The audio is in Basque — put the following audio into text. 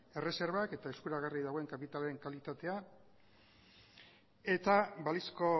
erreserbak eta eskuragarri dagoen kapitalaren kalitatea eta balizko